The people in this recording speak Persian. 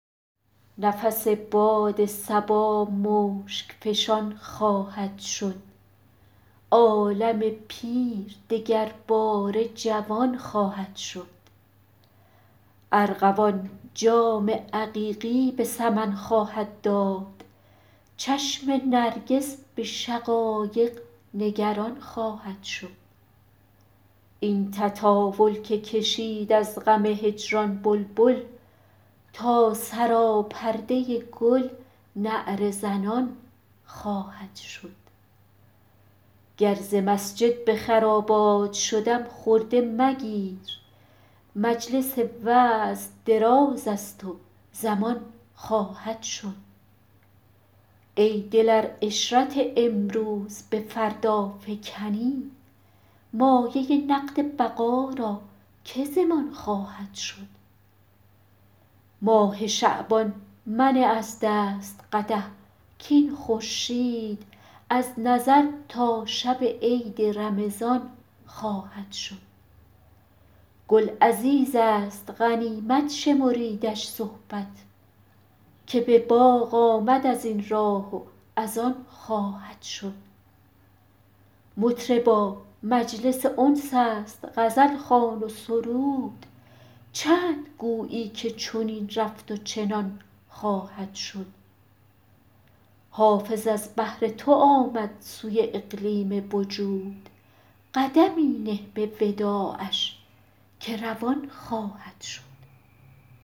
نفس باد صبا مشک فشان خواهد شد عالم پیر دگرباره جوان خواهد شد ارغوان جام عقیقی به سمن خواهد داد چشم نرگس به شقایق نگران خواهد شد این تطاول که کشید از غم هجران بلبل تا سراپرده گل نعره زنان خواهد شد گر ز مسجد به خرابات شدم خرده مگیر مجلس وعظ دراز است و زمان خواهد شد ای دل ار عشرت امروز به فردا فکنی مایه نقد بقا را که ضمان خواهد شد ماه شعبان منه از دست قدح کاین خورشید از نظر تا شب عید رمضان خواهد شد گل عزیز است غنیمت شمریدش صحبت که به باغ آمد از این راه و از آن خواهد شد مطربا مجلس انس است غزل خوان و سرود چند گویی که چنین رفت و چنان خواهد شد حافظ از بهر تو آمد سوی اقلیم وجود قدمی نه به وداعش که روان خواهد شد